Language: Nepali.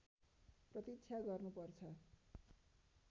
प्रतीक्षा गर्नु पर्छ